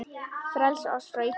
Frelsa oss frá illu!